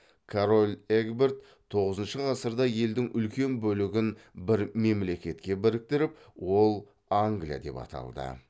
король эгберт тоғызыншы ғасырда елдің үлкен бөлігін бір мемлекетке біріктіріп ол англия деп аталды